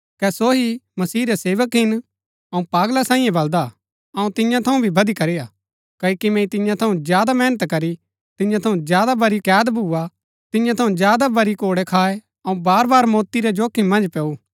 कै सो ही मसीह रै सेवक हिन अऊँ पागला सांईये बलदा अऊँ तियां थऊँ भी बदीकरी हा क्ओकि मैंई तियां थऊँ ज्यादा मेहनत करी तियां थऊँ ज्यादा बरी कैद भूआ तियां थऊँ ज्यादा बरी कोड़ै खाए अऊँ बार बार मौती रै जोखिम मन्ज पैऊ